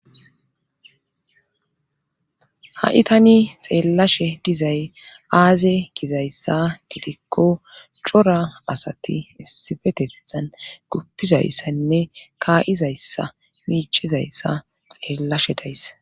Ha7i tani xeellashe dizay aaze gizayssa gidikko cora asati issifetethan guppizayssaynne kaayizayssa miicizayssa xeellashe dayssa